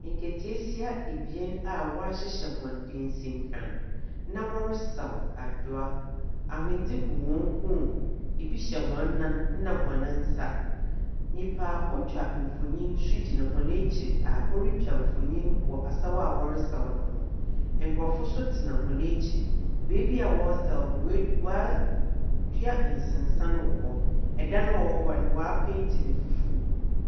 Nkataasia a wɔahyehyɛ hɔn dansinkran na wɔresaw adowa. Ahondze gu hɔn kɔnmu, bi so hyɛ nan na hɔn nsa. Nyimpa otwa mfonyin so gyina hɔn ekyir a orutwa mfonyin wɔ asaw a wɔresaw no ho. Nkorɔfo so tsena hɔn ekyir. Beebi a wɔresaw no, woe wɔa woedua nsensan wɔ hɔ. Dan a ɔwɔ hɔ no, woepeeti no fufuw.